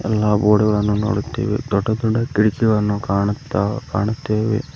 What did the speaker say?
ಎಲ್ಲಾ ಬೋರ್ಡು ಗಳನ್ನು ನೋಡುತ್ತೇವೆ ದೊಡ್ಡ ದೊಡ್ಡ ಕಿಟಕಿಗಳನ್ನು ಕಾಣುತ್ತಾ ಕಾಣುತ್ತೇವೆ.